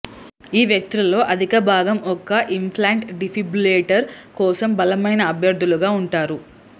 ఈ వ్యక్తులలో అధికభాగం ఒక ఇంప్లాంట్ డిఫిబ్రిలేటర్ కోసం బలమైన అభ్యర్ధులుగా ఉంటారు